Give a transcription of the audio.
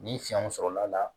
Ni fiɲɛw sɔrɔla la